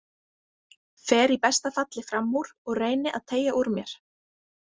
Fer í besta falli fram úr og reyni að teygja úr mér.